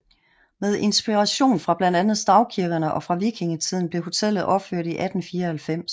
Med inspiration fra blandt andet stavkirkerne og fra vikingetiden blev hotellet opført i 1894